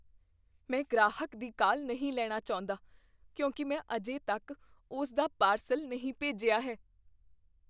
ਮੈਂ ਗ੍ਰਾਹਕ ਦੀ ਕਾਲ ਨਹੀਂ ਲੈਣੀ ਚਾਹੁੰਦਾ ਕਿਉਂਕਿ ਮੈਂ ਅਜੇ ਤੱਕ ਉਸ ਦਾ ਪਾਰਸਲ ਨਹੀਂ ਭੇਜਿਆ ਹੈ।